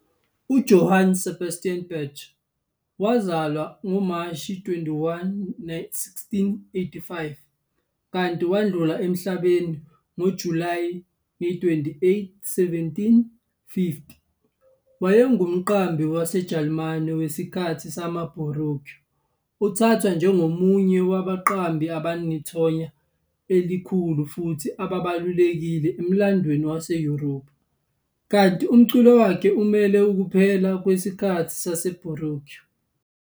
UJohann Sebastian Bach, Mashi 21, 1685 - Julayi 28, 1750, wayengumqambi waseJalimane wesikhathi samaBaroque. Uthathwa njengomunye wabaqambi abanethonya elikhulu futhi ababalulekile emlandweni wase-Europe, kanti umculo wakhe umele ukuphela kwesikhathi seBaroque.